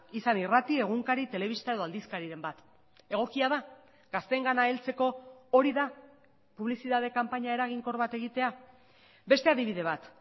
izan irrati egunkari telebista edo aldizkariren bat egokia da gazteengana heltzeko hori da publizitate kanpaina eraginkor bat egitea beste adibide bat